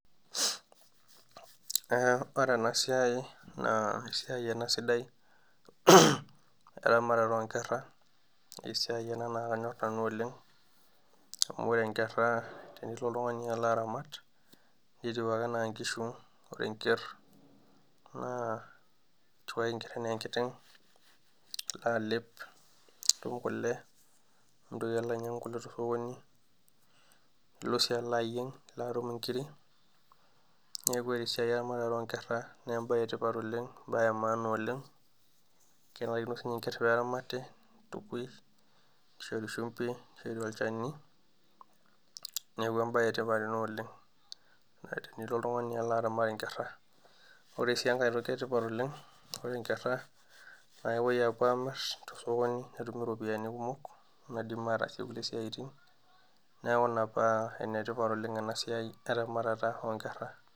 Ee ore ena siai naa esiai ena sidai eramatata oonkera naa esiai ena naa kanyorr nanu oleng' amu ore inkera tenelotu oltungani aramat netiu ake enaa inkishu, ore enker naa etiu enker enaa enkiteng' ilo alep nitum kule mintoki alo ainyiangu kule tosokoni, ilo sii alo ayieng nitum inkiri, neeku ore esiai eramatare oonkera naa embae etipat oleng' embae emaana oleng' kinare sininye enker peeramati, nitukui, nishori shumbi, nishori olchani neeku embae etipat ena oleng' tenilo oltungani alo aramat inkera. Ore sii enkae toki etipat oleng',naa ore inkera naa kepoi apuo aamir tosokoni netumi iropiyiani kumok naidim ataasie kulie tokitin neeku ina paa enetipat oleng' ena siai eramatata oonkera.